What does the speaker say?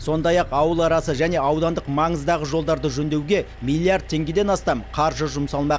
сондай ақ ауыл арасы және аудандық маңыздағы жолдарды жөндеуге миллиард теңгеден астам қаржы жұмсалмақ